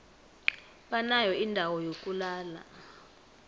banayo indawo yokulala